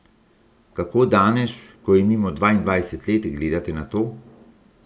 Kako danes, ko je mimo dvaindvajset let, gledate na to?